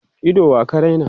Ido wa ka Raina?